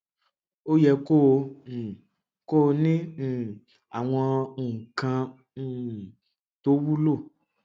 ó yẹ kó o um kọ ọ ní um àwọn nǹkan um tó wúlò